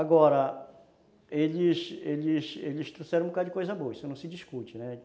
Agora, eles eles eles trouxeram um bocadinho de coisa boa, isso não se discute, né?